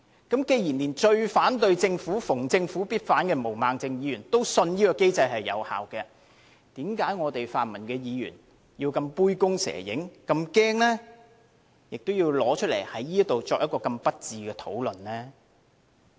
既然連最反對政府、逢政府必反的毛孟靜議員也相信這機制有效，為甚麼泛民議員要這麼杯弓蛇影，這麼害怕，要在此作這麼不智的討論呢？